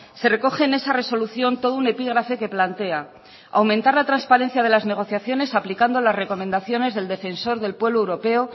se recoge en esa resolución todo un epígrafe que plantea aumentar la transparencia de las negociaciones aplicando las recomendaciones del defensor del pueblo europeo